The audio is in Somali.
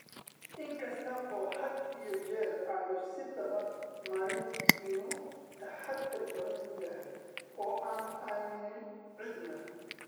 In kasta oo, had iyo jeer, aanu isdaba marin, inuu taxaddar badan yahay oo aanu aamminin cidna.